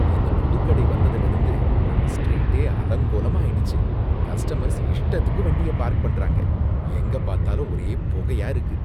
இந்த புது கடை வந்ததில இருந்து நம்ம ஸ்ட்ரீட்டே அலங்கோலமா ஆயிடுச்சு, கஸ்டமர்ஸ் இஷ்டத்துக்கு வண்டிய பார்க் பண்றாங்க, எங்க பார்த்தாலும் ஒரே புகையா இருக்கு.